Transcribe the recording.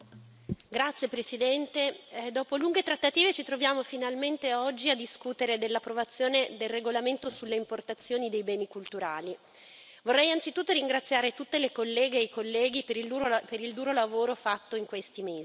Signor Presidente, onorevoli colleghi, dopo lunghe trattative ci troviamo finalmente oggi a discutere dell'approvazione del regolamento sull'importazione di beni culturali. Vorrei anzitutto ringraziare tutte le colleghe e i colleghi per il duro lavoro fatto in questi mesi.